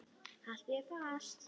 Haltu þér fast.